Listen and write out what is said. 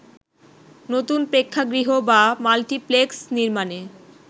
নতুন প্রেক্ষাগৃহ বা মাল্টিপ্লেক্স নির্মাণে